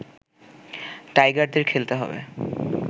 টাইগারদের খেলতে হবে